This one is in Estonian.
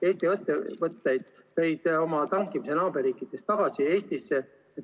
Eesti ettevõtted tõid oma tankimise naaberriikidest tagasi Eestisse.